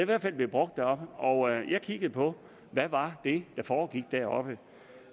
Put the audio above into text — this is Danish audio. hvert fald blevet brugt deroppe og jeg har kigget på hvad var det der foregik deroppe